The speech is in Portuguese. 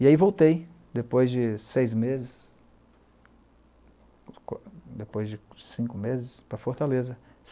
E aí voltei, depois de seis meses, depois de cinco meses, para Fortaleza.